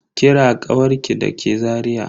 Kira kawarki da ke Zariya?